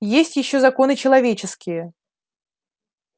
есть ещё законы человеческие